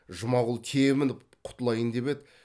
жұмағұл тебініп құтылайын деп еді